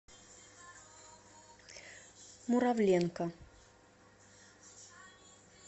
муравленко